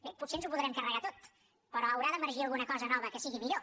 bé potser ens ho podrem carregar tot però haurà d’emergir alguna cosa nova que sigui millor